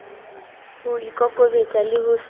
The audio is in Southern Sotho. ho ikokobetsa le ho se